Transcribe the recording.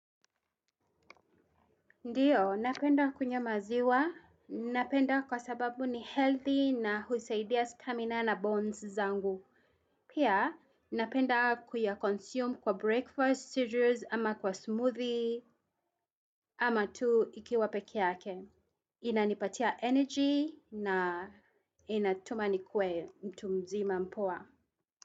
Ndiyo, napenda kunywa maziwa. Napenda kwa sababu ni healthy na husaidia stamina na bones zangu. Pia, napenda kuyakonsume kwa breakfast, cereals, ama kwa smoothie, ama tu ikiwa pekee yake. Inanipatia energy na inatuma nikuwe mtu mzima mpos.